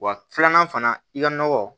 Wa filanan fana i ka nɔgɔ